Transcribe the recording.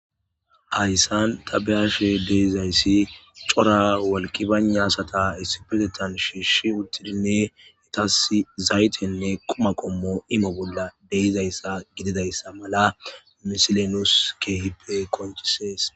Haysan ta beyashi dizaysi cora wolqi bayna asata issi bolla shiishidi izetas dumma dumma quma qommone zayte imo bolla de'izaysa gididaysa mala misiley nuus keehippe qonccisees.